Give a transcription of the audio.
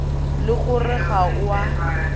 le gore ga o a